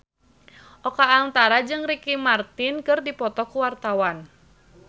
Oka Antara jeung Ricky Martin keur dipoto ku wartawan